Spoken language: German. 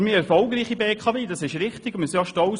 Doch die BKW ist auch erfolgreich, darauf sind wir stolz.